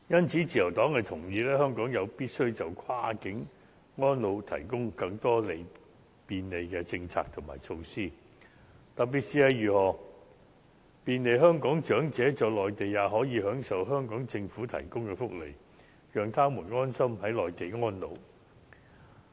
自由黨同意，香港有必要就跨境安老提供更多便利的政策和措施，特別是要便利香港長者在內地享受香港政府提供的福利，讓他們安心在內地安老。